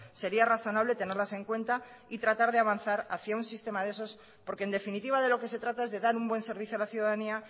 sería razonable tenerlas en cuenta y tratar de avanzar hacia un sistema de esos porque en definitiva de lo que se trata es de dar un buen servicio a la ciudadanía